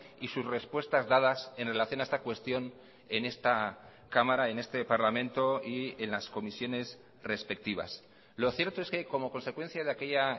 y sus respuestas dadas en relación a esta cuestión en esta cámara en este parlamento y en las comisiones respectivas lo cierto es que como consecuencia de aquella